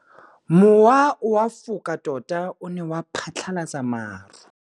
Mowa o wa go foka tota o ne wa phatlalatsa maru.